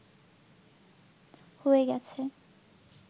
হয়ে গেছে